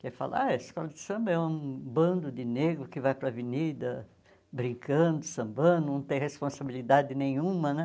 que fala ah escola de samba é um bando de negros que vai para a avenida brincando, sambando, não tem responsabilidade nenhuma né.